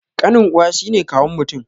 Ƙanin uwa shine kawun mutum